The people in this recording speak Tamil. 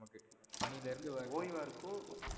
பனிலேந்து வந்து. ஒய்வா இருக்கும்